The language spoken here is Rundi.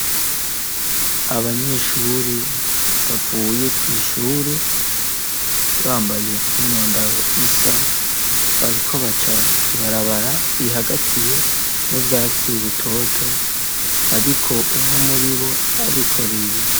Abanyeshure bavuye kw'ishure bambaye imyambaro isa bariko baca kw'ibarabara rihagatiwe n'ubwatsi butoto ariko umwe muri bo arikoreye.